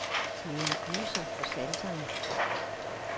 Det er en gyser for sanserne.